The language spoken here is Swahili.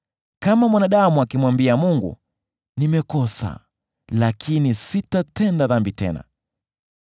“Kama mwanadamu akimwambia Mungu, ‘Nimekosa lakini sitatenda dhambi tena.